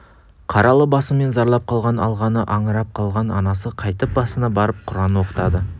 қаралы басымен зарлап қалған алғаны аңырап қалған анасы қайтіп басына барып құран оқытады